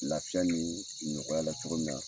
Laafiya ni nɔgɔya la cogo min na.